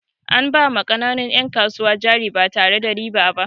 An ba ma ƙananun 'yan kasuwa jari ba tare da ruwa ba.